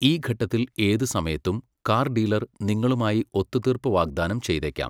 ഈ ഘട്ടത്തിൽ ഏത് സമയത്തും, കാർ ഡീലർ നിങ്ങളുമായി ഒത്തുതീർപ്പ് വാഗ്ദാനം ചെയ്തേക്കാം.